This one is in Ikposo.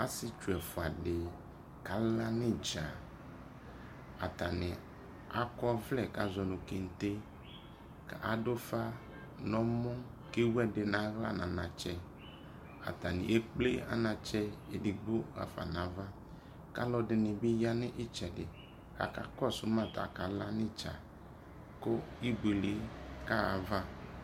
asietsu ɛfoa di kala no idza atane akɔ ɔvlɛ ko azɔ mo kente ko ado ufa no ɛmɔ ko ewu edi no ala no anatsɛ atane ekple anatsɛ edigbo afa no ava ko alo ɛdi ni bi ya no itsɛdi ko aka kɔso maa ko akala no idza ko ibuele kaha ava